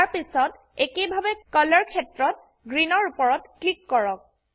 তাৰপিছত একেইভাবে কলৰ ক্ষেত্ৰত গ্ৰীণ এৰ উপৰত ক্লিক কৰক